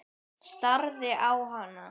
Starði á hana.